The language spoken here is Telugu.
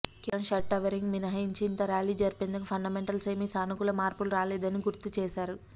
కేవలం షార్ట్కవరింగ్ మినహాయించి ఇంత ర్యాలీ జరిపేందుకు ఫండమెంటల్స్ ఏమీ సానుకూల మార్పులు రాలేదని గుర్తు చేశారు